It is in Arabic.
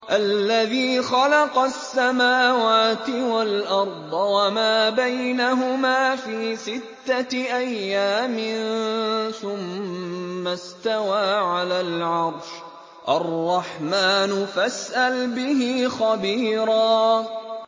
الَّذِي خَلَقَ السَّمَاوَاتِ وَالْأَرْضَ وَمَا بَيْنَهُمَا فِي سِتَّةِ أَيَّامٍ ثُمَّ اسْتَوَىٰ عَلَى الْعَرْشِ ۚ الرَّحْمَٰنُ فَاسْأَلْ بِهِ خَبِيرًا